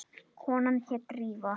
Konan hét Drífa.